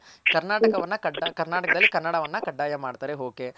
ಕರ್ನಾಟಕವನ್ನ ಕರ್ನಾಟಕದಲ್ಲಿ ಕನ್ನಡವನ್ನ ಕಡ್ಡಾಯ ಮಾಡ್ತಾರೆ okay